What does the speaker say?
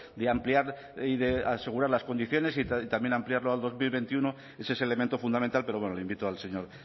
de ampliar y de asegurar las condiciones y también ampliarlo al dos mil veintiuno ese es elemento fundamental pero bueno le invito al señor